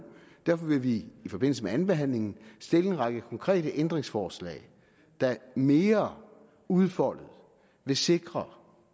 derfor vil vi i forbindelse med andenbehandlingen stille en række konkrete ændringsforslag der mere udfoldet vil sikre